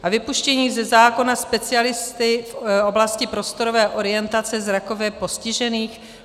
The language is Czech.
A vypuštění ze zákona specialisty v oblasti prostorové orientace zrakově postižených?